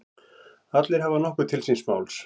Allir hafa nokkuð til síns máls.